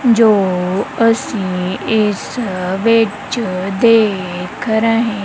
ਜੋ ਅਸੀਂ ਇਸ ਵਿੱਚ ਦੇਖ ਰਹੇ--